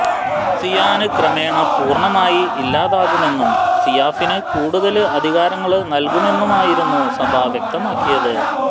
സിയാന് ക്രമേണ പൂര്ണമായി ഇല്ലാതാകുമെന്നും സിയാഫിന് കൂടുതല് അധികാരങ്ങള് നല്കുമെന്നുമായിരുന്നു സഭ വ്യക്തമാക്കിയത്